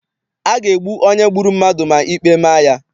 A ga-egbu onye gburu mmadụ ma ikpe ma ya.